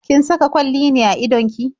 Kin saka kwalli ne a idon ki?